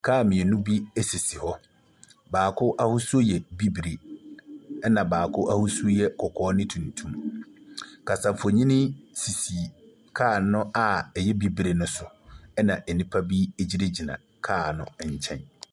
Car mmienu bi sisi hɔ. Baako ahosuo yɛ bibire. Ɛna baako ahosuo kɔkɔɔ ne tuntum. Kasafonyini sisi car no a ɛyɛ bibire no so. Ɛna nnipa bi e gyinagyina car no nkyqn.